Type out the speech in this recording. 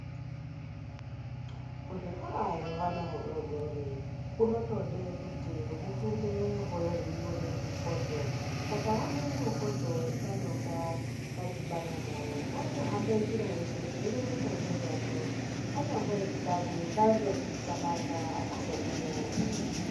Kuzvikora kwehana hudodori kunotode kuti hufunde hweiona mifodho, kakaona mufodho wakanonga kadhibana nawo kanotohamba njira yeshe keireketa ngezvazvo kanyambori kanyi kanotozvixabanga akazozviriyarwi.